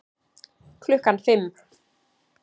Klukkan fimm